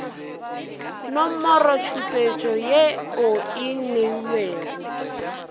nomorotšhupetšo ye o e neilwego